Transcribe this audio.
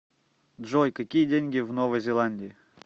джой какие деньги в новой зеландии